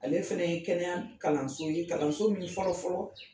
Ale fana ye kɛnɛya kalanso ye kalanso min fɔlɔ fɔlɔ